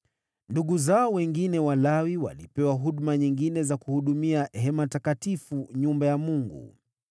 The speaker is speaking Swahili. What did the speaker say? Ndugu zao wengine Walawi walipewa huduma nyingine za kuhudumia hema takatifu, nyumba ya Mungu.